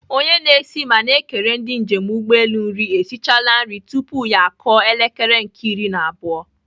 Onye na-esi ma na-ekere ndị njem ụgbọelu nri esichala nri tupu ya akụọ elekere nke iri na abụọ.